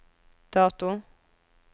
dato